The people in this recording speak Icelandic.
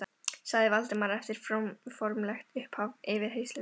sagði Valdimar eftir formlegt upphaf yfirheyrslunnar.